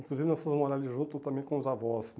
Inclusive nós fomos morar ali junto também com os avós.